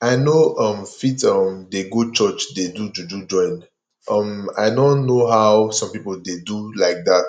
i no um fit um dey go church dey do juju join um i no know how some people dey do like that